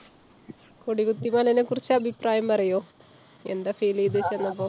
കൊടികുത്തിമലനെ കുറിച്ച് അഭിപ്രായം പറയോ? എന്താ feel ഈത് ചെന്നപ്പോ?